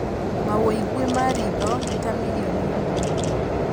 Mawũigui ma rĩtho nĩ ta milioni ĩmwe